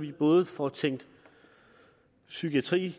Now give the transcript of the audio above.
vi både får tænkt psykiatri